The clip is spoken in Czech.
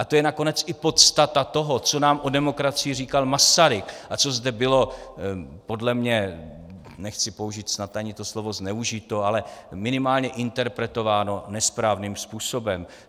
A to je nakonec i podstata toho, co nám o demokracii říkal Masaryk a co zde bylo podle mě - nechci použít snad ani to slovo zneužito, ale minimálně interpretováno nesprávným způsobem.